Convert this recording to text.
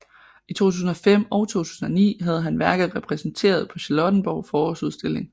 I 2005 og 2009 havde han værker repræsenteret på Charlottenborg Forårsudstilling